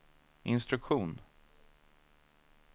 instruktion